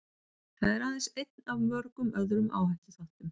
Það er aðeins einn af mörgum öðrum áhættuþáttum.